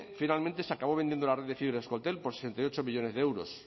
finalmente se acabó vendiendo la red de fibra euskaltel por sesenta y ocho millónes de euros